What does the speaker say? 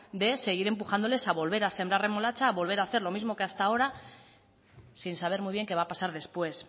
de seguir empujándoles a sembrar remolacha a volver a hacer como hasta ahora sin saber muy bien que va a pasar después